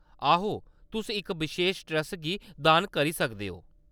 आहो, तुस इक बशेश ट्रस्ट गी दान करी सकदे न।